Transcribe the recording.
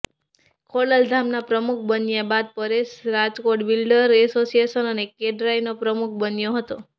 ખોડલધામના પ્રમુખ બન્યા બાદ પરેશ રાજકોટ બિલ્ડર એસોસિએશન અને ક્રેડાઈનો પ્રમુખ બન્યો હતો